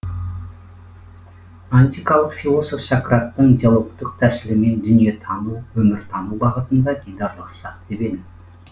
антикалық философ сократтың диалогтық тәсілімен дүниетану өміртану бағытында дидарлассақ деп едім